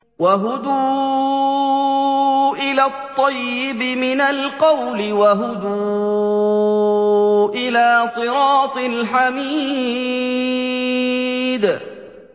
وَهُدُوا إِلَى الطَّيِّبِ مِنَ الْقَوْلِ وَهُدُوا إِلَىٰ صِرَاطِ الْحَمِيدِ